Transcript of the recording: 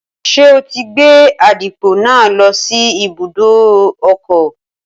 Ṣé o ti gbé àdìpọ̀ náà lọ sí ibùdó ọkọ̀?